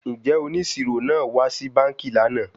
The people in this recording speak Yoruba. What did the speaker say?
Njẹ oniṣiro naa wa si banki lana?